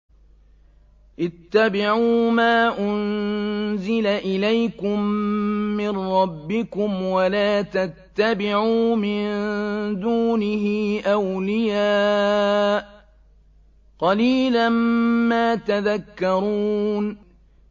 اتَّبِعُوا مَا أُنزِلَ إِلَيْكُم مِّن رَّبِّكُمْ وَلَا تَتَّبِعُوا مِن دُونِهِ أَوْلِيَاءَ ۗ قَلِيلًا مَّا تَذَكَّرُونَ